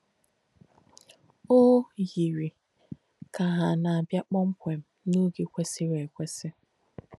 “Ó yìrì kà hà nà-àbìā kpọ́mkwēṃ n’óge kwèsìrī èkwēsì.”